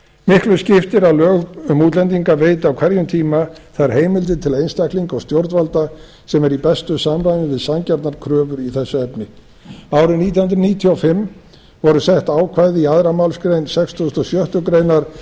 miklu skiptir að lög um útlendinga veiti á hverjum tíma þær heimildir til einstaklinga og stjórnvalda sem eru í bestu samræmi við sanngjarnar kröfur í þessu efni árið nítján hundruð níutíu og fimm voru sett ákvæði í annarri málsgrein sextugustu og sjöttu grein stjórnarskrárinnar